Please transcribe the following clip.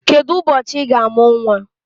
Kedụ ụbọchị Ị ga-amụ nwa?